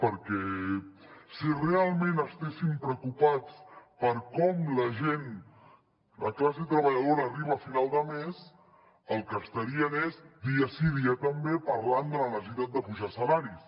perquè si realment estiguessin preocupats per com la gent la classe treballadora arriba a final de mes el que estarien és dia sí dia també parlant de la necessitat d’apujar salaris